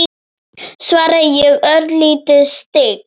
svaraði ég, örlítið stygg.